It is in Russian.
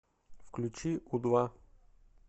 включи у два